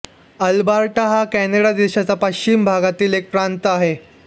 Alberta हा Canada देशाच्या पश्चिम भागातील एक प्रांत आहे